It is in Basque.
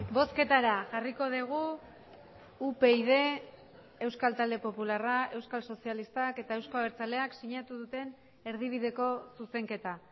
bozketara jarriko dugu upyd euskal talde popularra euskal sozialistak eta euzko abertzaleak sinatu duten erdibideko zuzenketa